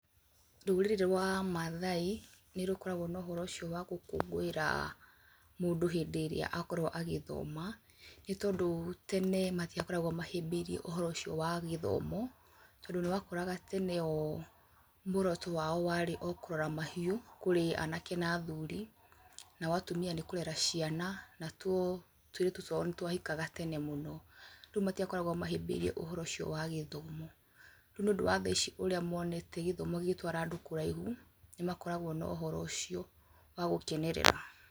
Rũrĩrĩ rwa maathai, nĩ rũkoragwo na ũhoro ũcio wa gũkũngũĩra mũndũ hĩndĩ ĩrĩa akorwo a gĩthoma, nĩ tondũ tena matiakoragwo mahĩbĩirie ũhoro ucio wa gĩthomo, tondũ nĩ wakoraga tene o muoroto wao warĩ o kũrora mahiũ kũrĩ anake na athuri, nao atumia nĩ kũrera ciana, na tuo tũirĩtu twao nĩ twahikaga tene mũno, rĩu matiakoragwo mahĩbĩirie ũhoro ũcio wa gĩthomo, rĩu nĩ ũndũ wa thaa ici ũrĩa monete gĩthomo gĩgĩtwara andũ kũraihu, nĩ makoragwo na ũhoro ũcio wa gũkenerera.